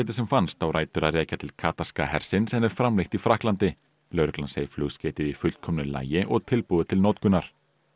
sem fannst á rætur að rekja til hersins en er framleitt í Frakklandi lögreglan segir flugskeytið í fullkomnu lagi og tilbúið til notkunar